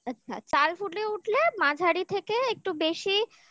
আচ্ছা চাল ফুটে উঠলে মাঝারি থেকে একটু বেশি আচে